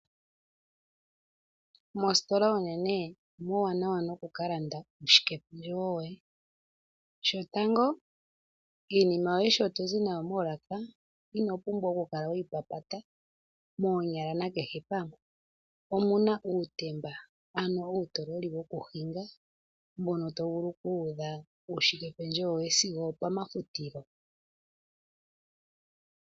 Moostola oonene, omuuwanawa no ku ka landa uushikependjewo woye. Shotango iinima yoye sho to zi kayo moolaka, ino pumbwa oku kala we yi papaya, omuna uutemba, ano uutokoli wo ku hinga mbono to tula uushike pendjewo woye sigo opomafutilo.